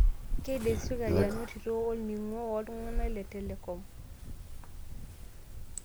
Keidimsirkali anotito olning'o woltung'anak le telecom.